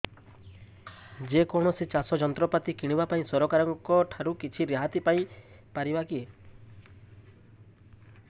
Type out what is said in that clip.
ଯେ କୌଣସି ଚାଷ ଯନ୍ତ୍ରପାତି କିଣିବା ପାଇଁ ସରକାରଙ୍କ ଠାରୁ କିଛି ରିହାତି ପାଇ ପାରିବା କି